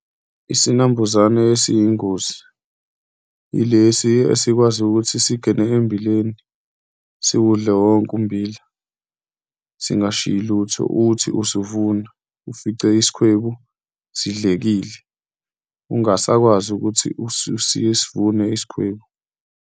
Isinambuzane esiyingozi ilesi esikwazi ukuthi singene embileni siwudle wonke umbila singashiyi lutho. Uthi uvuna, ufice isikhwebu sidlekile ungasakwazi ukuthi usivune isikhwebu.